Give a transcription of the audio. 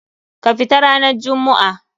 Ka fita ranan jummu'a!